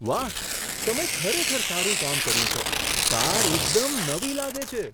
વાહ! તમે ખરેખર સારું કામ કર્યું છે. કાર એકદમ નવી લાગે છે!